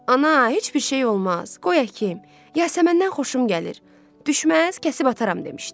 "Ana, heç bir şey olmaz, qoy əkim, yasəməndən xoşum gəlir, düşməz kəsib ataram" demişdi.